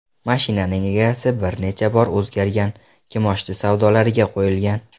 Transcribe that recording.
Mashinaning egasi bir necha bor o‘zgargan, kimoshdi savdolariga qo‘yilgan.